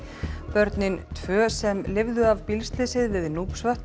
börnin tvö sem lifðu af bílslysið við